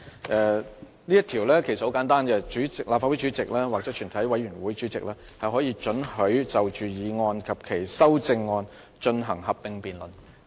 這條規則其實很簡單，即立法會主席或全體委員會主席可准許就擬議決議案及修訂議案進行合併辯論。